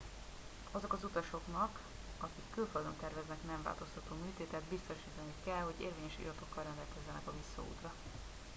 azok az utasoknak akik külföldön terveznek nemváltoztató műtétet biztosítaniuk kell hogy érvényes iratokkal rendelkeznek a visszaútra